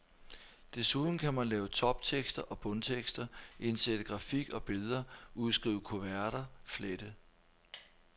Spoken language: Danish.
Desuden kan man lave toptekster og bundtekster, indsætte grafik og billeder, udskrive kuverter, flette.